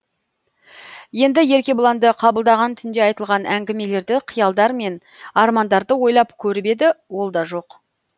енді еркебұланды қабылдаған түнде айтылған әңгімелерді қиялдар мен армандарды ойлап көріп еді ол да жоқ